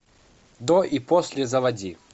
до и после заводи